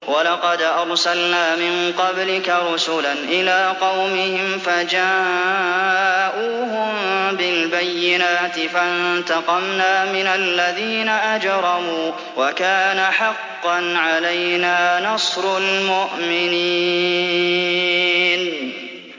وَلَقَدْ أَرْسَلْنَا مِن قَبْلِكَ رُسُلًا إِلَىٰ قَوْمِهِمْ فَجَاءُوهُم بِالْبَيِّنَاتِ فَانتَقَمْنَا مِنَ الَّذِينَ أَجْرَمُوا ۖ وَكَانَ حَقًّا عَلَيْنَا نَصْرُ الْمُؤْمِنِينَ